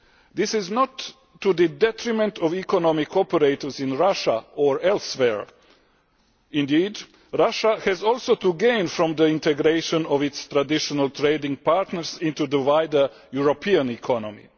This is not to the detriment of economic operators in Russia or elsewhere. Indeed, Russia also stands to gain from the integration of its traditional trading partners into the wider European economy.